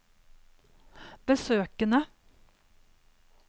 besøkene